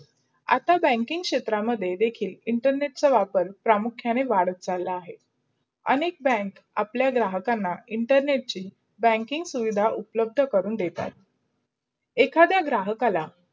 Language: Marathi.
आता banking क्षेत्र मध्ये देखील internet चा वापर प्रमुखयाने वाढला अहे. अनेक bank अप्लाय ग्राहकांना इंटरनेटहि banking सुविधा उपलब्ध करून देतात अहे. एखादा घराहाकाला